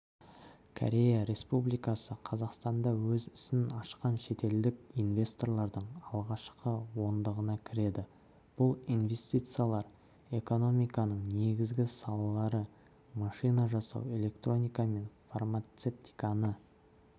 корея республикасы қазақстанда өз ісін ашқан шетелдік инвесторлардың алғашқы ондығына кіреді бұл инвестициялар экономиканың негізгі салалары машина жасау электроника мен фармацевтиканы